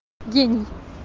деньги